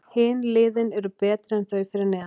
Hin liðin eru betri en þau fyrir neðan.